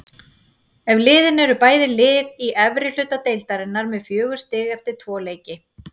Eftir leikinn eru bæði lið í efri hluta deildarinnar með fjögur stig eftir tvo leiki.